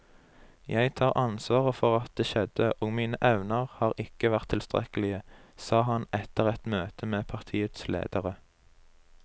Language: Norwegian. Jeg tar ansvaret for at det skjedde, og mine evner har ikke vært tilstrekkelige, sa han etter et møte med partiets ledere.